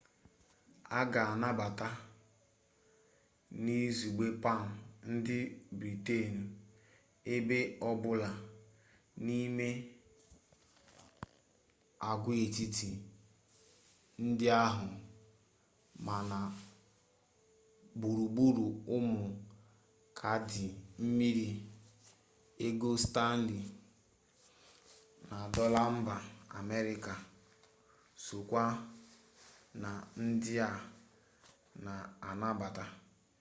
a ga-anabata n'izugbe pam ndị britenụ ebe ọbụla n'ime agwaetiti ndị ahụ ma na gburugburu ụmụ kaadị mbiri ego stanley na dọla mba amerịka sokwa na ndị a na-anabata